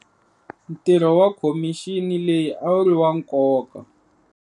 Ntirho wa khomixini leyi a wu ri wa nkoka.